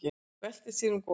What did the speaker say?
Veltir sér um á gólfinu.